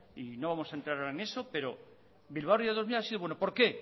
y no vamos a entrar ahora en eso pero bilbao ría dos mil ha sido bueno por qué